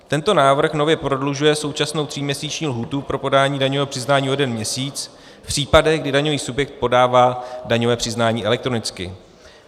Tento návrh nově prodlužuje současnou tříměsíční lhůtu pro podání daňového přiznání o jeden měsíc v případech, kdy daňový subjekt podává daňové přiznání elektronicky.